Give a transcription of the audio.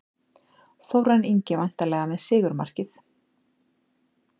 Þórarinn Ingi væntanlega með sigurmarkið.